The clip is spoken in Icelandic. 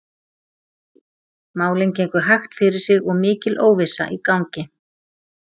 Málin gengu hægt fyrir sig og mikil óvissa í gangi.